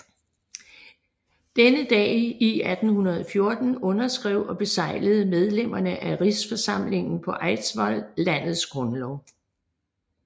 Denne dag i 1814 underskrev og beseglede medlemmerne af Rigsforsamlingen på Eidsvoll landets grundlov